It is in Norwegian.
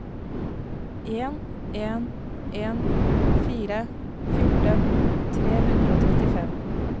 en en en fire fjorten tre hundre og trettifem